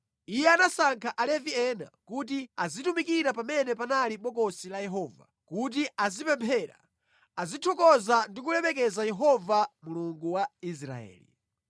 Iye anasankha Alevi ena kuti azitumikira pamene panali Bokosi la Yehova, kuti azipemphera, azithokoza ndi kulemekeza Yehova Mulungu wa Israeli.